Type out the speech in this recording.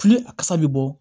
Fili a kasa bɛ bɔ